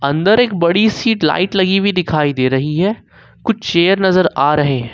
अंदर एक बड़ी सी लाइट लगी हुई दिखाई दे रही है कुछ चेयर नजर आ रहे हैं।